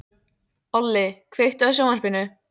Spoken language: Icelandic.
Olli, kveiktu á sjónvarpinu.